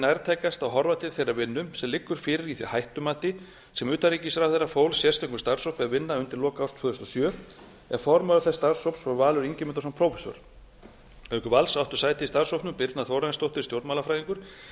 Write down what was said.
nærtækast að horfa til þeirrar vinnu sem liggur fyrir í því hættumati sem utanríkisráðherra fól sérstökum starfshópi að vinna að undir lok árs tvö þúsund og sjö en formaður þess starfshóps var valur ingimundarson prófessor auk vals áttu sæti í starfshópnum birna þórarinsdóttir stjórnmálafræðingur